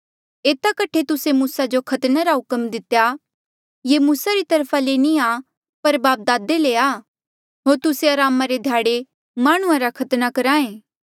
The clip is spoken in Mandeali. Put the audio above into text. एता कठे मूसे तुस्सा जो खतने रा हुक्म दितेया ये मूसा री तरफा ले नी आ पर बापदादे ले आ होर तुस्से अरामा रे ध्याड़े माह्णुंआं रा खतना करहा ऐें